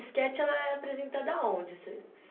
Esquete ela é apresentada aonde, esse